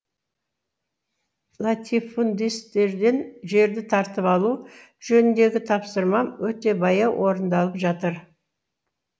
латифундистерден жерді тартып алу жөніндегі тапсырмам өте баяу орындалып жатыр